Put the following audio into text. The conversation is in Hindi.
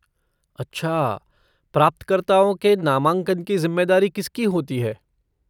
अच्छा, प्राप्तकर्ताओं के नामांकन की ज़िम्मेदारी किसकी होती है?